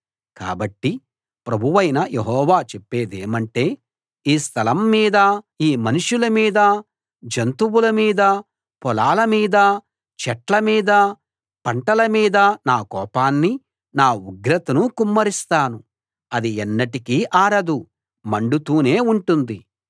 కాబట్టి ప్రభువైన యెహోవా చెప్పేదేమంటే ఈ స్థలం మీదా ఈ మనుషుల మీదా జంతువుల మీదా పొలాలమీదా చెట్ల మీదా పంటల మీదా నా కోపాన్ని నా ఉగ్రతను కుమ్మరిస్తాను అది ఎన్నటికీ ఆరదు మండుతూనే ఉంటుంది